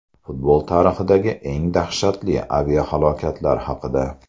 Futbol tarixidagi eng dahshatli aviahalokatlar haqida.